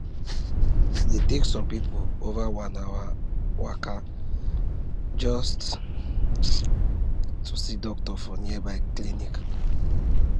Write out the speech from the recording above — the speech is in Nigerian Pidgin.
e dey take some people over one hour waka just um to see doctor for nearby clinic